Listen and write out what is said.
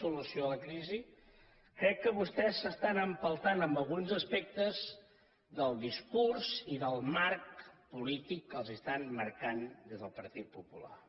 ció a la crisi crec que vostès s’estan empeltant en alguns aspectes del discurs i del marc polític que els estan marcant des del partit popular